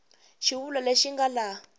xivulwa lexi xi nga laha